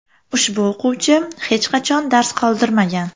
Ushbu o‘quvchi hech qachon dars qoldirmagan.